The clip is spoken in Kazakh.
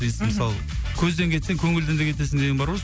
мысалы көзден кетсең көңілден де кетесің деген бар ғой